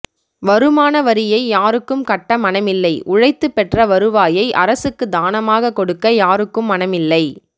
வருமான வரியை யாருக்கும் கட்ட மனமில்லை உழைத்து பெற்ற வருவாயை அரசுக்கு தானமாக கொடுக்க யாருக்கும் மனமில்லை